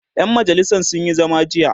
ƴan majalisan sun Yi zama jiya